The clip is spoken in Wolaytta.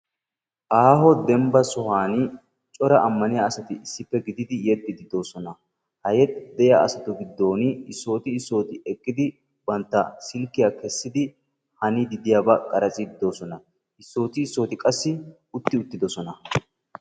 Aho dembba sohuwan cora amaniyaa asati issippe gididi yexxidi do'osona , ha yexxiddi diyaa asattu giddon issotti issotti eqqidi bantta silkiya kessidi haniidi de'iyaba qaratstsiidi de'oosona issoti issoti qassi utti uttidosona.